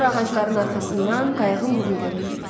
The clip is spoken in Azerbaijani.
Sonra ağacların arxasından qayığın burnu göründü.